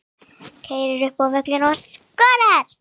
Keyrir upp völlinn og skorar.